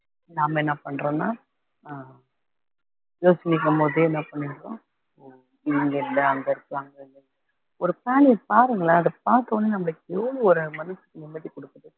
நாம என்ன பன்றோம்னா அஹ் போதே என்ன பண்ணிரோம் ஓ இங்க இல்ல அங்க இருக்கு அங்க இல்ல ஒரு பிராணிங்க பாருங்களேன் அத பார்த்த உடனே நம்மளுக்கு எவ்ளோ ஒரு மனசுக்கு நிம்மதி கொடுக்குது